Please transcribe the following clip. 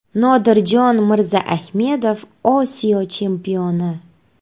Nodirjon Mirzaahmedov Osiyo chempioni!.